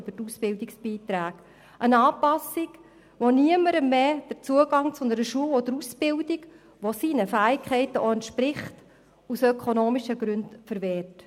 Es geht um eine Anpassung, die niemandem mehr den Zugang zu einer Schule oder zu einer Ausbildung, die seinen Fähigkeiten entspricht, aus ökonomischen Gründen verwehrt.